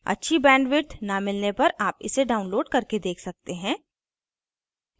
अच्छी bandwidth न मिलने पर आप इसे download करके देख सकते हैं